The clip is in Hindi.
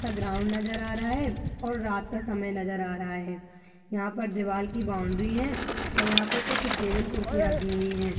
सा ग्राउंड नज़र आ रहा है और रात का समय नज़र आ रहा है यहाँ पल दीवाल की बॉउंड्री है और यहाँ पर कुछ टेबल कुर्सी रखी हुई हैं।